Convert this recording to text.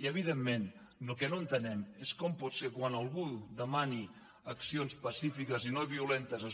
i evidentment el que no entenem és com pot ser que quan algú demani accions pacífiques i no violentes